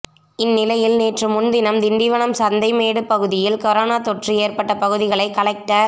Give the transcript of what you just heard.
இந்நிலையில் நேற்று முன்தினம் திண்டிவனம் சந்தைமேடு பகுதியில் கொரோனா தொற்று ஏற்பட்ட பகுதிகளை கலெக்டர்